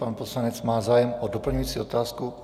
Pan poslanec má zájem o doplňující otázku.